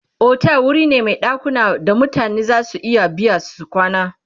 otel wuri ne Mai ɗakuna da mutane zasu iya biya su kwana